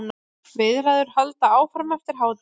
Viðræður halda áfram eftir helgi.